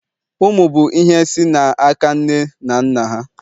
ụmụ bụ ihe si n'aka nne na nna ha